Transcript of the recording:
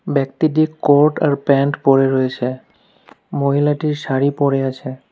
ব্যক্তিটি কোট আর প্যান্ট পড়ে রয়েছে মহিলাটি শাড়ি পড়ে আছে।